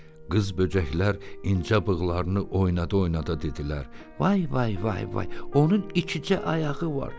Qız böcəklər incə bığlarını oyuna-oynada dedilər: “Vay, vay, vay, onun ikicə ayağı var.